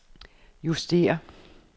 justér